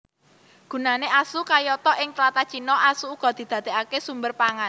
Gunané asu kayata Ing tlatah Cina asu uga didadèkaké sumber pangan